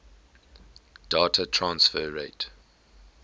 data transfer rate